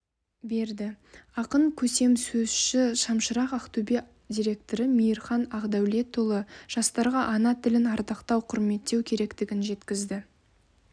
берді ақын көсемсөзші шамшырақ ақтөбе директоры мейірхан ақдәулетұлы жастарға ана тілін ардақтау құрметтеу керектігін жеткізді